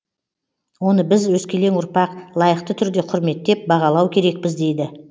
оны біз өскелең ұрпақ лайықты түрде құрметтеп бағалау керекпіз дейді